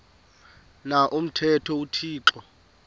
na umthetho uthixo